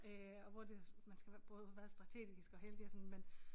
Øh og hvor det man skal være både være strategisk og heldig og sådan men